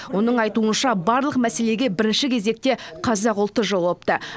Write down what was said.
оның айтуынша барлық мәселеге бірінші кезекте қазақ ұлты жауапты